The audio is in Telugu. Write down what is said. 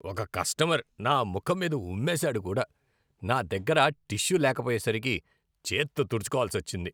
ఒక కస్టమర్ నా ముఖం మీద ఉమ్మేశాడు కూడా. నా దగ్గర టిష్యూ లేకపోయేసరికి చేత్తో తుడుచుకోవాల్సి వచ్చింది.